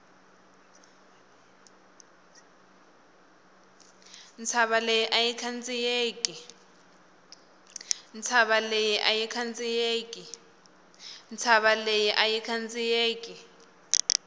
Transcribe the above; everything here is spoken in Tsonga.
ntshava leyi ayi khandziyeki